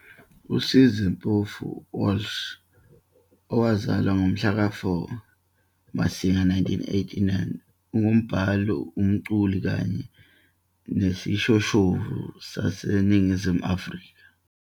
USizwe Mpofu-Walsh, owazalwa ngomhlaka 4 Masingana 1989, ungumbhali, umculi kanye nesishoshovu saseNingizimu Afrika.